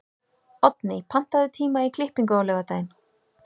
Oddný, pantaðu tíma í klippingu á laugardaginn.